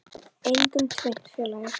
Einkum tvennt, félagi.